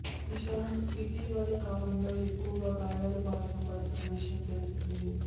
ఇషాంత్ ఇటీవలి కాలంలో ఎక్కువగా గాయాల బారిన పడుతున్న విషయం తెలిసిందే